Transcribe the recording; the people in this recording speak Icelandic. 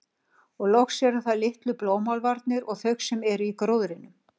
Og loks eru það litlu blómálfarnir og þau sem eru í gróðrinum.